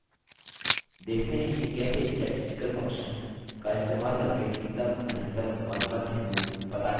देखते हैं कि कैसे statistical functions का इस्तेमाल करके न्यूनतम अधिकतम और मध्य मूल पता करते हैं